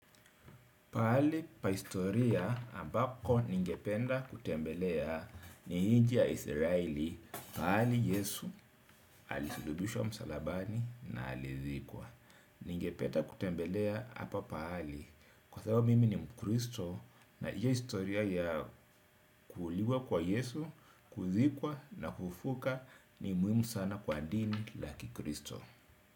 Mahali pakihistoria ambapo ningependa kutembelea ni nchi ya Israeli mahali Yesu alisulubishwa msalabani na alizikwa. Ningependa kutembelea mahali hapa kwasababu mimi ni mkristo unajua historia ya kuuliwa kwa Yesu kuzikwa na kufufuka ni muhimu sana kwa dini ya kikristo.